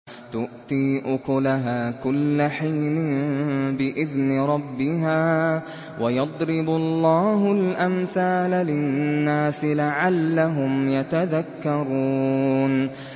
تُؤْتِي أُكُلَهَا كُلَّ حِينٍ بِإِذْنِ رَبِّهَا ۗ وَيَضْرِبُ اللَّهُ الْأَمْثَالَ لِلنَّاسِ لَعَلَّهُمْ يَتَذَكَّرُونَ